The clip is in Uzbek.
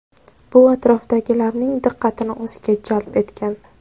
Bu atrofdagilarning diqqatini o‘ziga jalb etgan.